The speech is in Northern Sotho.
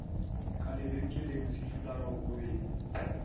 ka lebenkeleng sefularo o be